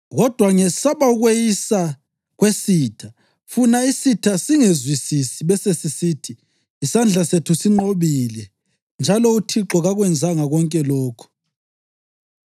kodwa ngesaba ukweyisa kwesitha, funa isitha singezwisisi besesisithi, “Isandla sethu sinqobile, njalo uThixo kakwenzanga konke lokhu.” ’